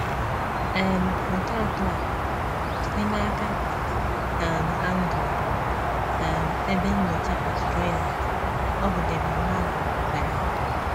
um Foto atọ a: Site n’aka um Anglo - um Ebe Nnyocha Australia, ọ bụ David Malin sere ha.